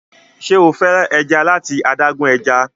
ṣe o fẹ ẹja lati adágún ẹja?